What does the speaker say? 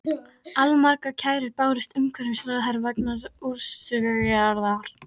Allmargar kærur bárust umhverfisráðherra vegna þessa úrskurðar.